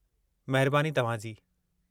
महिरबानी तव्हां जी!